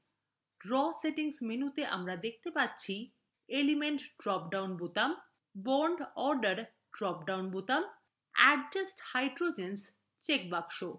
draw settings মেনুতে আমরা দেখতে পাচ্ছি